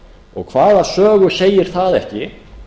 og hvaða sögu segir það ekki